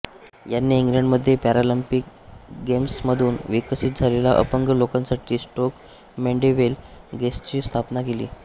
यांनी इंग्लंडमध्ये पॅरालंपिक गेम्समधून विकसित झालेल्या अपंग लोकांसाठी स्टोक मॅंडेविले गेम्सची स्थापना केली